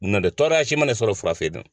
N'ɔ tɛ tɔɔrɔya si man ne sɔrɔ furafeere in na.